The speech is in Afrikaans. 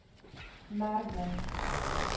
merwe